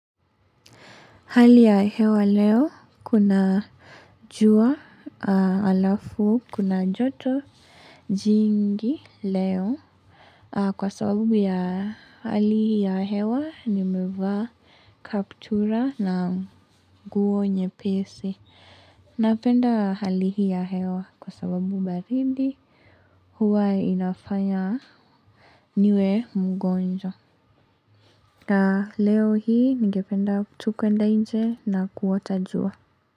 Hali ya hewa leo kuna jua alafu kuna joto jingi leo. Kwa sababu ya hali ya hewa nimevaa kaptura na nguo nyepesi. Napenda hali hii ya hewa kwa sababu baridi huwa inafanya niwe mgonjwa. Leo hii ningependa tu kuenda nje na kuota jua.